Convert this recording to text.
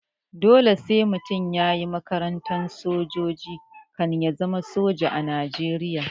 Dole sai mutum yayi makarantar sojoji kan ya zama soja a najeriya